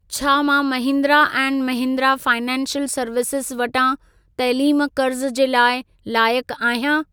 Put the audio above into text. छा मां Mahindra and Mahindra financial services वटां तैलीम क़र्ज़ु जे लाइ लायक आहियां?